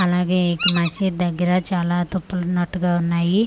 అలాగే ఇక్ మసీద్ దెగ్గర చాలా తుప్పలు ఉన్నటుగా ఉన్నాయి పే--